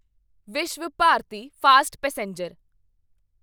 Vishwabharati fast passenger